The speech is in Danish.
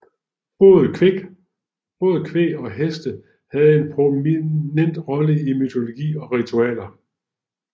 Både kvæg og heste havde en prominent rolle i mytologi og ritualer